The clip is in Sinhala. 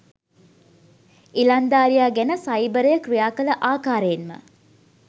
ඉලන්දාරියා ගැන සයිබරය ක්‍රියා කළ ආකාරයෙන්ම